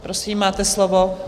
Prosím, máte slovo.